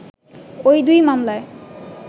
ওই দুই মামলায়